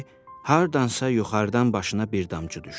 hardansa yuxarıdan başına bir damcı düşdü.